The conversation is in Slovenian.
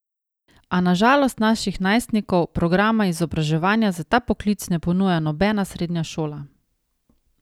A na žalost naših najstnikov programa izobraževanja za ta poklic ne ponuja nobena srednja šola.